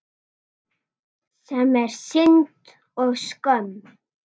Sem er synd og skömm.